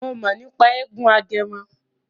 Mo mọ̀ nípa eégún Agẹmọ.